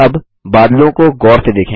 अब बादलों को गौर से देखें